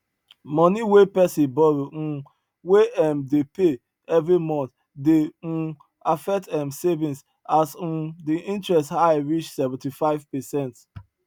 money wey pesin borrow um wey em dey pay every month dey um affect em savings as um the interest high reach seventy five percent